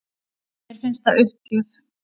Mér finnst það uppgjöf